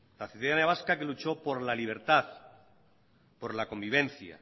la ciudadanía vasca que luchó por la libertad por la convivencia